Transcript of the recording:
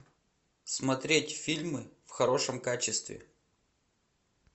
смотреть фильмы в хорошем качестве